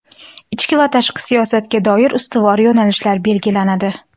ichki va tashqi siyosatga doir ustuvor yo‘nalishlar belgilanadi.